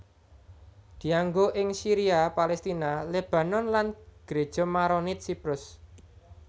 Dianggo ing Syria Palestina Lebanon lan Gereja Maronit Siprus